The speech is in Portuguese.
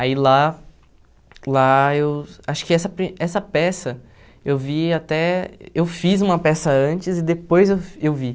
Ai lá lá eu acho que essa pri essa peça eu vi até eu fiz uma peça antes e depois eu eu vi.